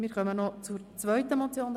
Wir kommen zur zweiten Motion.